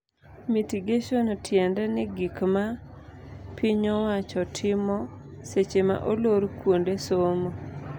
Mitigation tiende ni gik ma pinyowacho timo seche ma olor kuonde somo.